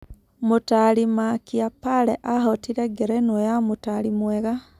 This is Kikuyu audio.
Mũtari Makĩa Pale ahootire ngerenwa ya mũtaari mwega.